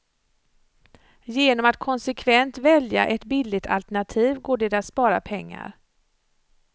Genom att konsekvent välja ett billigt alternativ går det att spara pengar.